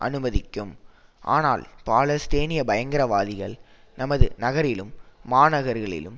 அனுமதிக்கும் ஆனால் பாலஸ்தீனிய பயங்கரவாதிகள் நமது நகரிலும் மாநகர்களிலும்